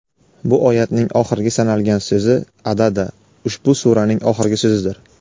Bu oyatning oxirgi "sanalgan" so‘zi (adada) ushbu suraning oxirgi so‘zidir.